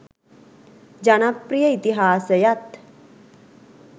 ජනප්‍රිය ඉතිහාසයත්